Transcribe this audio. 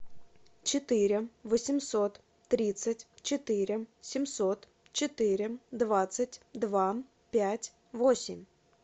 четыре восемьсот тридцать четыре семьсот четыре двадцать два пять восемь